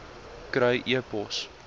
kry e pos